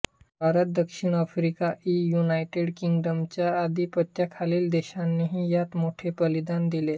भारत दक्षिण आफ्रिका इ युनायटेड किंग्डमच्या आधिपत्याखालील देशांनीही यात मोठे बलिदान दिले